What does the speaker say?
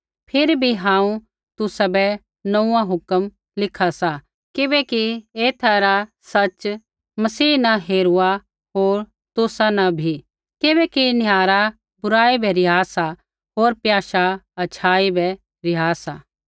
फिरी बी हांऊँ तुसाबै नोंऊँआं हुक्म लिखा सा किबैकि एथा रा सच़ मसीह न हेरूआ होर तुसा न बी किबैकि निहारा बुराई बै रिहा सा होर प्याशा अच्छाई बै रिहा सा